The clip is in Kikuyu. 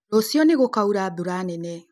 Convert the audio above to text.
Rũciũ nĩgũkaura mbura nene